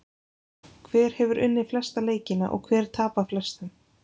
Hver hefur unnið flesta leikina og hver tapað flestum?